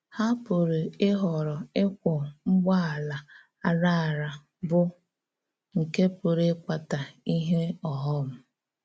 Há pụ̀rà íhòrò ịkwọ̀ ǹgbọ̀̀àlà àrà àrà, bụ́ nke pụ̀rà ịkpàtà íhè ọ̀ghọ̀m.